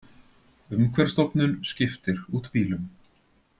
Umhverfisstofnun skiptir út bílum